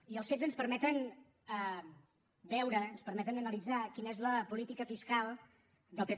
i els fets ens permeten veure ens permeten analitzar quina és la política fiscal del pp